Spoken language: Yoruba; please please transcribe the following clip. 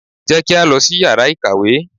Jẹ́ kí á lọ sí yàrá ìkàwé!